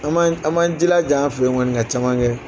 An man an man jilaja an fɛ ye kɔni ka caman kɛ